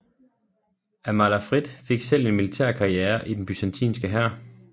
Amalafrid selv fik en militær karriere i den byzantinske hær